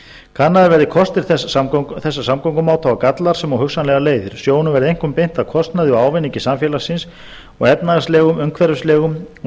kannaðir verði kostir þessa samgöngumáta og gallar sem og hugsanlegar leiðir sjónum verði einkum beint að kostnaði og ávinningi samfélagsins og efnahagslegum umhverfislegum og